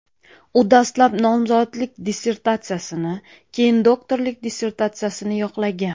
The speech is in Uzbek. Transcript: U dastlab nomzodlik dissertatsiyasini, keyin doktorlik dissertatsiyasini yoqlagan.